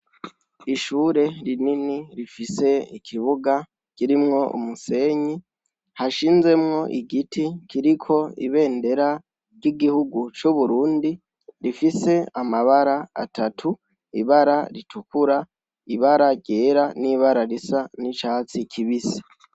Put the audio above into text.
Ishure rinini rifise ikibuga kirimwo umusenyi, hashinzemwo igiti kiriko ibendera ry'igihugu c'uburundi rifise amabara atatu, ibara ritukura, ibara ryera n'ibara risa n'icatsi kibise.